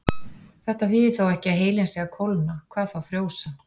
Þetta þýðir þó ekki að heilinn sé að kólna, hvað þá frjósa.